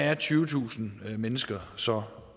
er tyvetusind mennesker så